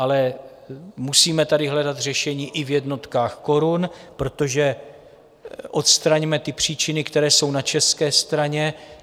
Ale musíme tady hledat řešení i v jednotkách korun, protože odstraňme ty příčiny, které jsou na české straně.